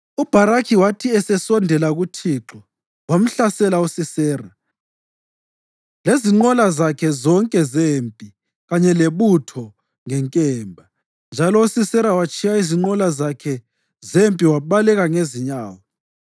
UBharakhi wathi esesondela uThixo wamhlasela uSisera lezinqola zakhe zonke zempi kanye lebutho ngenkemba, njalo uSisera watshiya izinqola zakhe zempi wabaleka ngezinyawo.